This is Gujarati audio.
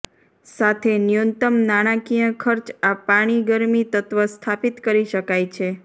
સાથે ન્યૂનતમ નાણાકીય ખર્ચ પાણી ગરમી તત્વ સ્થાપિત કરી શકાય છે